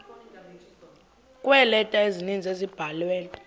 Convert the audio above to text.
kweeleta ezininzi ezabhalelwa